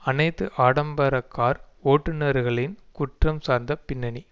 அனைத்து ஆடம்பரக்கார் ஓட்டுனர்களின் குற்றம் சார்ந்த பின்னணி